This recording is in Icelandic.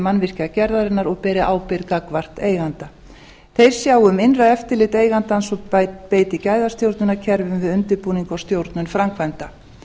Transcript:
mannvirkjagerðarinnar og beri ábyrgð gagnvart eiganda þeir sjá um innra eftirlit eigandans og beiti gæðastjórnunarkerfum við undirbúning og stjórnun framkvæmda